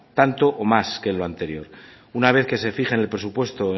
tanto o más que el anterior una vez que se fije en el presupuesto